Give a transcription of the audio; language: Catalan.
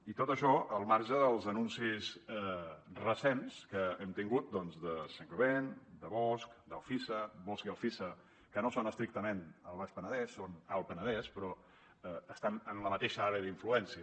i tot això al marge dels anuncis recents que hem tingut doncs de saint gobain de bosch d’alfisa bosch i alfisa que no són estrictament al baix penedès són alt penedès però estan en la mateixa àrea d’influència